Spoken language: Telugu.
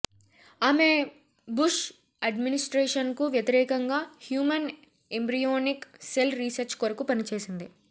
ఆమె బుష్ అడ్మినిస్ట్రేషన్కు వ్యతిరేకంగా హ్యూమన్ ఎంబ్రియోనిక్ సెల్ రీసెర్చ్ కొరకు పనిచేసింది